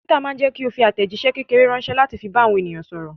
Twitter ma jẹ́kí o fi àtẹ̀jíṣé kékeré ránsẹ́ láti fi bá àwọn èèyàn sọ̀rọ̀